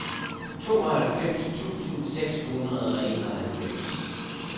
tooghalvfems tusind seks hundrede og enoghalvfems